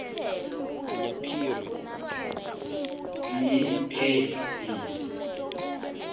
b a b